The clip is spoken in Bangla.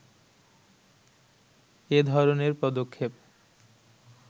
এ ধরনের পদক্ষেপ